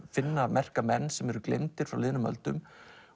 finna merka menn sem eru gleymdir frá liðnum öldum